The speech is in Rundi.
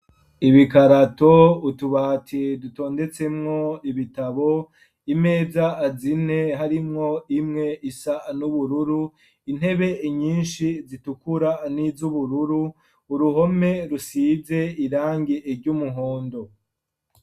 Ibikarato utubati dutondetsemwo ibitabo, imeza zine harimwo imwe isa n'ubururu intebe inyinshi zitukura n'izubururu, uruhome rusize irangi ry'umuhondo.